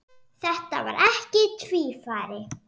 Þetta var ekki tvífari